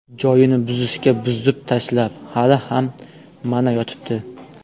Joyini buzishga buzib tashlab, hali ham, mana, yotibdi.